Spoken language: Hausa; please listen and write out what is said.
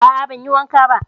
A a ban yi wanka ba.